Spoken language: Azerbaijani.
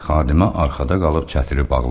Xadimə arxada qalıb çətiri bağladı.